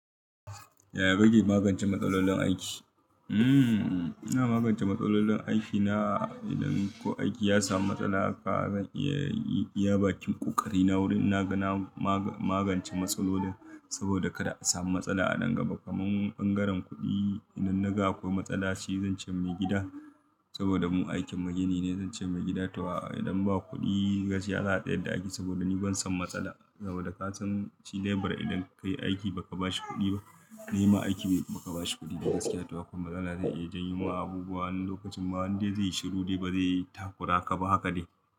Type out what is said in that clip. Ya kake magance matsalolin aiki? Hmmm, ina magancen matsalolin aiki na idan ko aiki ya samu matsala haka zan iya, yi iya bakin kokari na wurin naga na magance matsalolin saboda kada a samu matsala a nan gaba. Kamun bangaren kuɗi idan naga akwai matsala, shi zance mai gida saboda mu aikin mu gini ne, zance mai gida to aa idan ba kuɗi gashi ya tsayar da aiki saboda ni ban son matsala. Saboda ka shi labira idan kai aiki ba ka ba shi kuɗi ba, nema aiki ba ka ba shi kuɗi gashi ya tawa kuma matsala zai iya janyo wa abubuwa wani lokacin ma wani dai zai yi shiru dai ba zai yi takura ka ba haka ne.